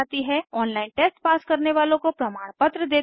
online test pass करने वालों को प्रमाणपत्र देते हैं